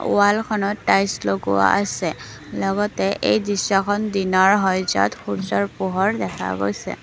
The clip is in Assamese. ৱালখনত টাইলছ লগোৱা আছে লগতে এই দৃশ্যখন দিনৰ হয় য'ত সূৰ্য্যৰ পোহৰ দেখা গৈছে।